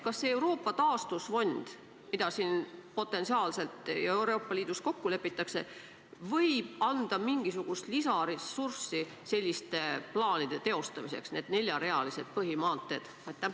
Kas see Euroopa taastusfond, mida siin potentsiaalselt ja Euroopa Liidus kokku lepitakse, võib anda mingisugust lisaressurssi selliste plaanide teostamiseks nagu need neljarealised põhimaanteed?